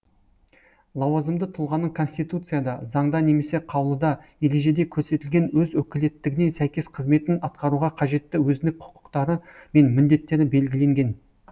лауазымды тұлғаның конституцияда заңда немесе қаулыда ережеде көрсетілген өз өкілеттігіне сәйкес қызметін атқаруға қажетті өзіндік құқықтары мен міндеттері белгіленген